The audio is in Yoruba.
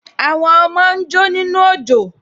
Àwọn ọmọ ń jó nínú òjò